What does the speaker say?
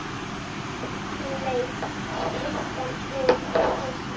Hún leit engan veginn á sig.